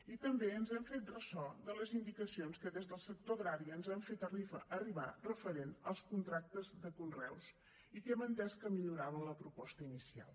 i també ens hem fet ressò de les indicacions que des del sector agrari ens han fet arribar referent als contractes de conreus i que hem entès que milloraven la proposta inicial